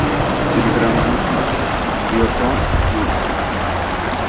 Telegram buyurtma: Biokon buyurtma .